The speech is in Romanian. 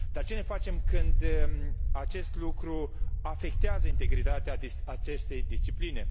Dar ce ne facem când acest lucru afectează integritatea acestei discipline?